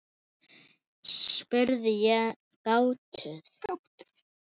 spurði ég gáttuð.